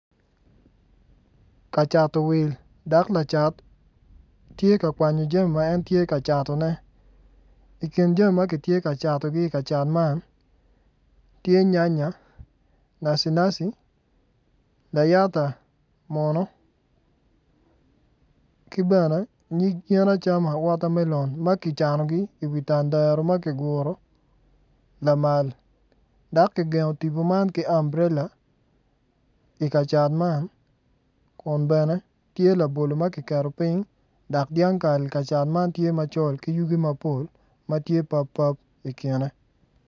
Kacato wil dak lacat tye ka kwanyo jami ma en tye ka catone i kin jami ma giti kacatogi i ka cat man tye nyanya nacinaci layata munu ki bene nyig yen acama wotamelon ma ki canogi i wi tandaro ma ki guru lamal dak ki gengo timbu man ki amburela i kacat man kun bene tye labolo ma kiketo piny dak dyangkal kacat man tye macol ki yugi mapol ma tye pappap i kine